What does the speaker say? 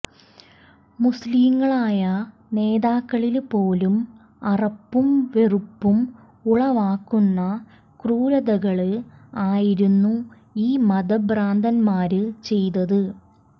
മുസ്ലിങ്ങളായ നേതാക്കളില് പോലും അറപ്പും വെറുപ്പും ഉളവാക്കുന്ന ക്രൂരതകള് ആയിരുന്നു ഈ മതഭ്രാന്തന്മാര് ചെയ്തത്